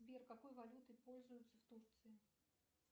сбер какой валютой пользуются в турции